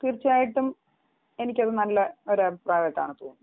തീർച്ചയായിട്ടും എനിക്ക് അത് നല്ല ഒരു അഭിപ്രായമായിട്ടാണ് തോന്നിയത്